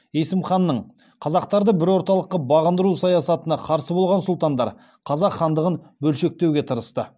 есім ханның қазақтарды бір орталыққа бағындыру саясатына қарсы болған сұлтандар қазақ хандығын бөлшектеуге тырысты